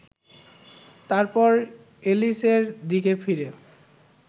তারপর এলিসের দিকে ফিরে